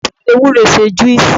egbon fi ewuro se juices